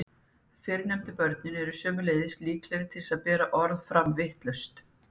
Fyrrnefndu börnin eru sömuleiðis líklegri til þess að bera orð fram vitlaust.